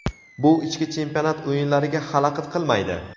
bu ichki chempionat o‘yinlariga xalaqit qilmaydi.